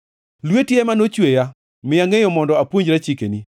Lweti ema nochweya; miya ngʼeyo mondo apuonjra chikeni.